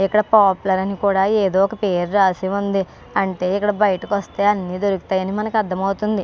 ఇక్కడ పాపులర్ అని కూడ ఏదో ఒక్క పేరు రాసి ఉంది. అంటే ఇక్కడ బయటికి వస్తే అని దొరుకుతాయి అని మనకి అర్ధం అవుతుంది.